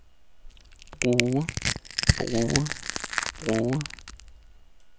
bruge bruge bruge